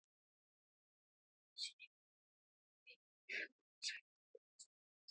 Hann sér að hann hefur sagt of mikið.